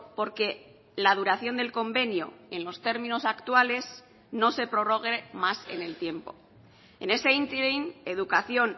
por que la duración del convenio en los términos actuales no se prorrogue más en el tiempo en ese ínterin educación